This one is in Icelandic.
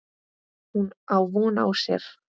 Hún á von á sér.